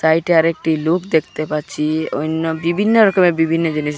সাইটে আরেকটি লোক দেখতে পাচ্ছি অন্য বিভিন্ন রকমের বিভিন্ন জিনিস দে--